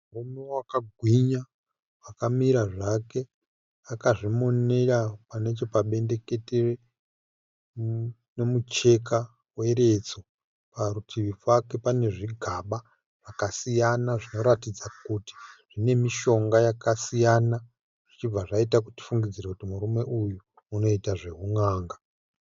Murume akagwinya akamira zvake akazvimonera nechepabendekete nemucheka weredzo. Parutivi pake pane zvigaba zvinoratidza kuti zvine mishonga yakasiyana, tichibva taita zvokufungidzira kuti unoita zveun'anga.